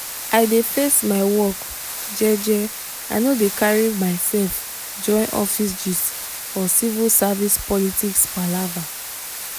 i dey face my work jeje i no dey carry myself join office gist or civil service politics palava.